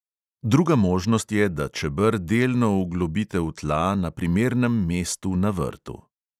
Druga možnost je, da čeber delno vglobite v tla na primernem mestu na vrtu.